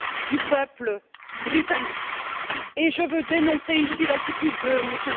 du peuple britannique et je veux dénoncer ici l'attitude de M.